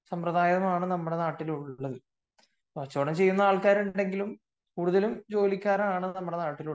സമ്പ്രദായമാണ് നാട്ടിൽ ഉള്ളത് കച്ചവടം ചെയ്യുന്ന ആളുകൾ നാട്ടിൽ ഉണ്ടെങ്കിലും കൂടുതലും ജോലിക്കാരാണ് നമ്മുടെ നാട്ടിൽ ഉള്ളത്